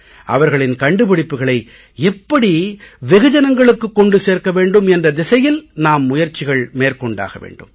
அவர்களின் கண்டுபிடிப்புக்களை எப்படி வெகு ஜனங்களுக்கு கொண்டு சேர்க்க வேண்டும் என்ற திசையில் நாம் முயற்சிகள் மேற்கொண்டாக வேண்டும்